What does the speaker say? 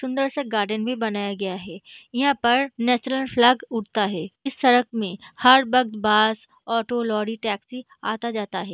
सुंदर सा गार्डन भी बनाया गया है यहां पर नेशनल फ्लैग उड़ता है इस सड़क में हर वक्त बस ऑटो टैक्सी आता-जाता है।